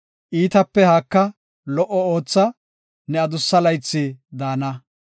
Iitape haaka; lo77o ootha; ne adussa laythi daana.